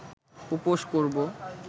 উপোস করব